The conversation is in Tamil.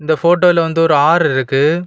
இந்த போட்டோல வந்து ஒரு ஆறு இருக்கு.